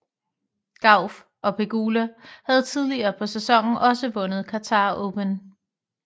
Gauff og Pegula havde tidligere på sæsonen også vundet Qatar Open